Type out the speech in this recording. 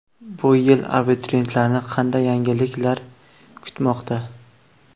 Bu yil abituriyentlarni qanday yangiliklar kutmoqda?.